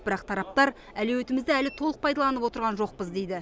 бірақ тараптар әлеуетімізді әлі толық пайдаланып отырған жоқпыз дейді